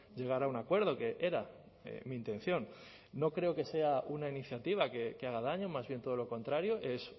llegar a un acuerdo que era mi intención no creo que sea una iniciativa que haga daño más bien todo lo contrario es